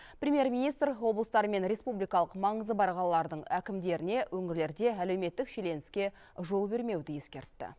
премьер министр облыстар мен республикалық маңызы бар қалалардың әкімдеріне өңірлерде әлеуметтік шиеленіске жол бермеуді ескертті